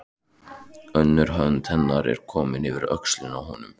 Önnur hönd hennar er komin yfir öxlina á honum.